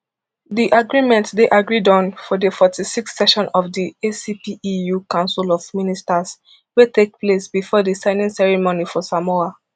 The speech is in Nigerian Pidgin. di agreement dey agreed on for di forty-sixth session of di acpeu council of ministers wey take place bifor di signing ceremony for samoa